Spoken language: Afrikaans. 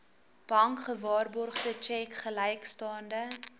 bankgewaarborgde tjek gelykstaande